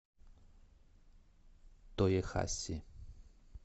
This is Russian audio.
тоехаси